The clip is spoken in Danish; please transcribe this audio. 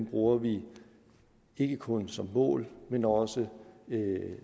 bruger vi ikke kun som mål men også